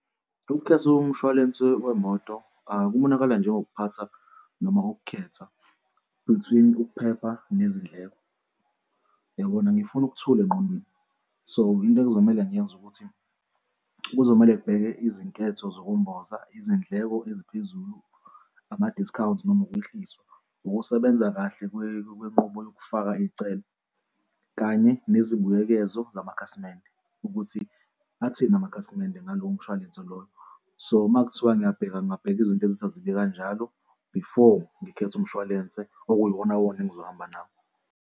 Ukukhetha komshwalense wemoto kubonakali njengokuphathwa noma ukukhetha between ukuphepha nezindleko. Uyabona? Ngifuna ukuthula engqondweni. So, into ekuzomele ngiyenze ukuthi kuzomele ngibheke izinketho zokumboza izindleko eziphezulu, ama-discounts noma ukwehliswa, ukusebenza kahle kwenqubo yokufaka iy'celo kanye nezibuyekezo zamakhasimende ukuthi athini amakhasimende ngalowo mshwalense loyo. So makuthiwa ngiyabheka ngingabheka izinto ezazile kanjalo, before ngikhetha umshwalense okuyiwona wona engizohamba nawo.